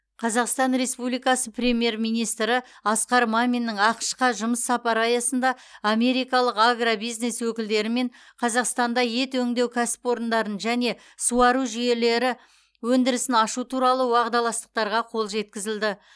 қазақстан республикасы премьер министрі асқар маминнің ақш қа жұмыс сапары аясында америкалық агробизнес өкілдерімен қазақстанда ет өңдеу кәсіпорындарын және суару жүйелері өндірісін ашу туралы уағдаластықтарға қол жеткізілді